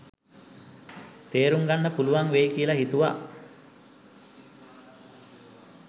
තේරුම්ගන්න පුළුවන් වෙයි කියල හිතුව‍.